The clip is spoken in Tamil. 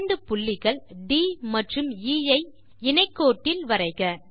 இரண்டு புள்ளிகள் ட் மற்றும் எ ஐ இணைகோட்டில் வரைக